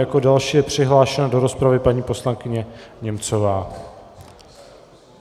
Jako další je přihlášena do rozpravy paní poslankyně Němcová.